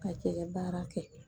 Ka cɛgɛ baara kɛ